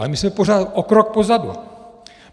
Ale my jsme pořád o krok pozadu.